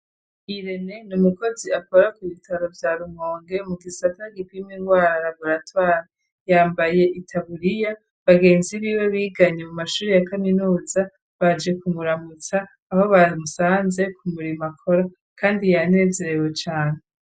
Irene ni umukozi akora ku ibitaro vya Rumonge mu gisata gipima ingwara muri raburatwari yambaye itabuliya bagenzi biwe biganye mu mashuri ya kaminuza baje kumuramutsa aho bamusanze ku murimo akora kandi yanezerewe cane.